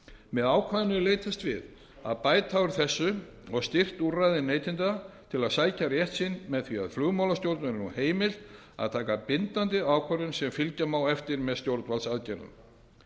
með ákvæðinu er leitast við að bæta úr þessu og styrkt úrræði neytenda til að sækja rétt sinn með því að flugmálastjórn verður nú heimilt að taka bindandi ákvörðun sem fylgja má eftir með stjórnvaldsaðgerðum